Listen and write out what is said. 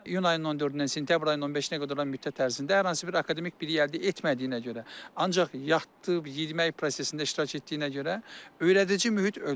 İyun ayının 14-dən sentyabr ayının 15-nə qədər olan müddət ərzində hər hansı bir akademik bilik əldə etmədiyinə görə, ancaq yatıb, yemək prosesində iştirak etdiyinə görə, öyrədici mühit ölür.